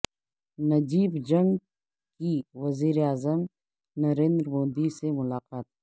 نجیب جنگ کی وزیر اعظم نریندر مودی سے ملاقات